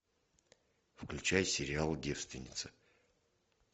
включай сериал девственница